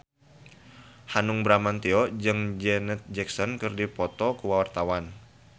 Hanung Bramantyo jeung Janet Jackson keur dipoto ku wartawan